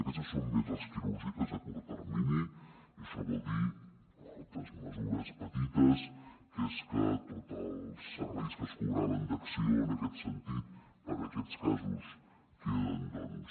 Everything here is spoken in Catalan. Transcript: aquests són més les quirúrgiques a curt termini i això vol dir altres mesures petites que és que tots els serveis que es cobraven d’acció en aquest sentit per a aquests casos queden doncs